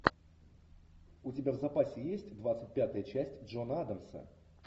у тебя в запасе есть двадцать пятая часть джона адамса